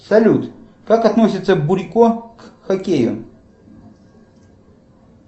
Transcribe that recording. салют как относится бурико к хоккею